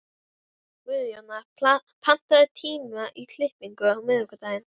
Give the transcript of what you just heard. Guðjóna, pantaðu tíma í klippingu á miðvikudaginn.